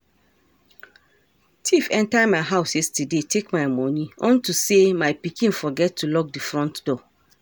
Thief enter my house yesterday take my money unto say my pikin forget to lock the front door